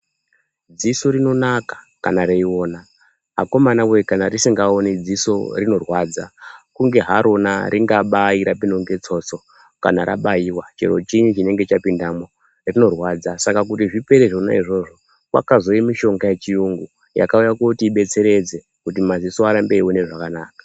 Dziso rinonaka kana reiona. Akomanawee kana risingaoni dziso rinorwadza. Kunge harona ringabai rapindwa ngetsotso kana rabaiwa. Chero chinyi chinenge chapindemwo, rinorwadza. Saka kuti zvipere zvonazvo, kwakauye mishonga yechiyungu yakauye kotibetsetedze kuti maziso arambe eione zvakanaka.